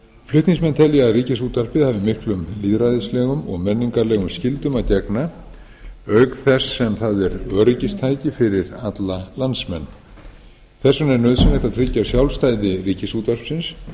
flutningsmenn telja að ríkisútvarpið hafi miklum lýðræðislegum og menningarlegum skyldum að gegna auk þess sem það er öryggistæki fyrir alla landsmenn þess vegna er nauðsynlegt að tryggja sjálfstæði ríkisútvarpsins